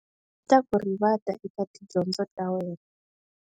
Yi ta ku rivata eka tidyondzo ta wena.